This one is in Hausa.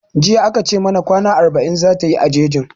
Jiya a ka ce mana kwana arba'in zata yi a jejin